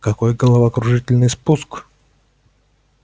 какой головокружительный спуск